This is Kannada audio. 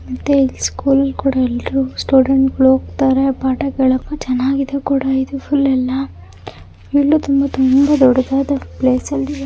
ಮತ್ತೆ ಸ್ಕೂಲ್ ಕೂಡ ಎಲ್ಲರು ಸ್ಟೂಡೆಂಟ್ ಗಳು ಹೋಗ್ತಾರೆ ಪಾಠ ಕೇಳಕ್ಕೆ ಚೆನ್ನಾಗಿದೆ ಕೂಡ ಇದು ಫುಲ್ ಯಲ್ಲಾ. ಇದು ತುಂಬಾ ತುಂಬ ದೊಡ್ಡದಾದ ಪ್ಲೇಸ್ ಅಲ್ಲಿದೆ.